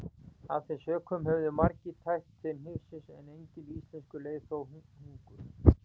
Af þeim sökum höfðu margir tæpt til hnífsins en enginn íslenskur leið þó hungur.